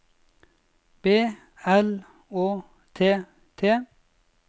B L Å T T